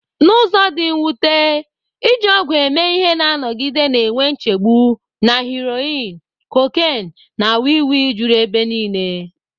N'ụzọ dị mwute, iji ọgwụ eme ihe na-anọgide na-enwe nchegbu, na heroin, cocaine, na wii wii juru ebe niile.